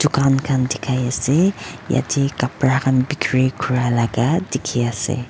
dukan khan dikhai ase yate kapara khan bikiri kura laga dikhi ase.